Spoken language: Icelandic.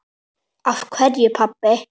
Af hverju, pabbi?